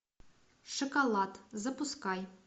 шоколад запускай